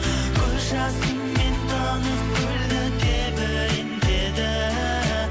көз жасымен тынық көлді тебірентеді